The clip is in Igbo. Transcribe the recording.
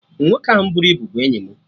Nwoke ahụ buru ibu bụ enyi mụ